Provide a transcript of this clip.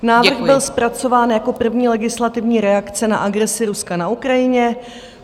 Návrh byl zpracován jako první legislativní reakce na agresi Ruska na Ukrajině.